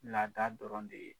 Laada dɔrɔn de ye